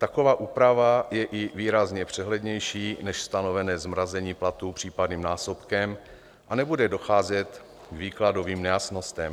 Taková úprava je i výrazně přehlednější než stanovené zmrazení platů případným násobkem a nebude docházet k výkladovým nejasnostem.